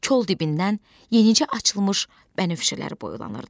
Kol dibindən yenicə açılmış bənövşələr boylanırdı.